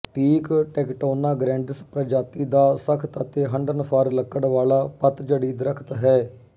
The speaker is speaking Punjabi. ਟੀਕ ਟੈਕਟੋਨਾ ਗਰੈਂਡਿਸ ਪ੍ਰਜਾਤੀ ਦਾ ਸਖ਼ਤ ਅਤੇ ਹੰਢਣਸਾਰ ਲੱਕੜ ਵਾਲਾ ਪੱਤਝੜੀ ਦਰਖ਼ਤ ਹੈ